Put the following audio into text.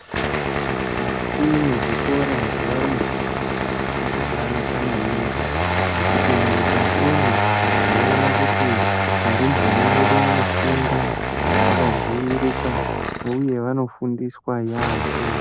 Mukati mwezvikora zvaarumbwana makabanaka manhingi ngekuti mukatimwo tinoona kuti varumbwana vedu vanofunda vakadziirika uye anofundiswa yaamho